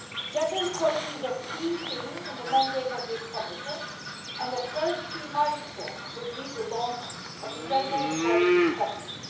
Gender equality is a key theme in the mandate of this Commission and the first key milestone will be the launch of the Gender Equality Strategy.